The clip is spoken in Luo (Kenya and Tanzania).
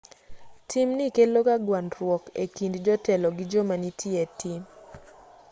timni keloga gwandruok e kind jotelo gi joma nitie e tim